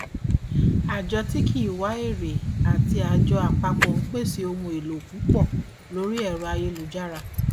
àjọ tí kì í wá èrè àti àjọ apapo ń pèsè ohun èlò púpọ lórí ẹrọ ayélujára